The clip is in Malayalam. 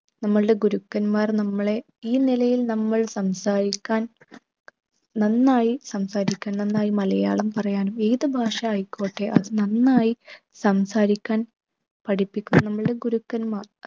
നമ്മൾടെ ഗുരുക്കന്മാർ നമ്മളെ ഈ നിലയിൽ നമ്മൾ സംസാരിക്കാൻ നന്നായി സംസാരിക്കാൻ നന്നായി മലയാളം പറയാനും ഏതു ഭാഷ ആയിക്കോട്ടെ അത് നന്നായി സംസാരിക്കാൻ പഠിപ്പിക്കുന്ന നമ്മൾടെ ഗുരുക്കന്മാർ